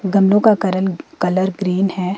गन्नों का करण कलर ग्रीन है।